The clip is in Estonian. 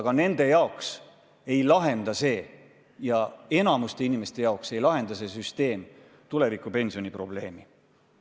Aga jah, nende jaoks, enamiku inimeste jaoks ei lahenda see süsteem tulevikupensioni probleemi.